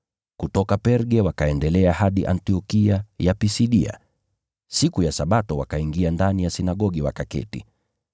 Kutoka Perga wakaendelea hadi Antiokia ya Pisidia. Siku ya Sabato wakaingia ndani ya sinagogi, wakaketi.